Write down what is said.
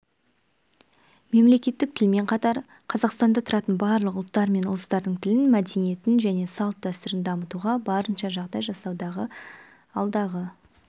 мемлекеттік тілмен қатар қазақстанда тұратын барлық ұлттар мен ұлыстардың тілін мәдениетін және салт-дәстүрін дамытуға барынша жағдай жасауды алдағы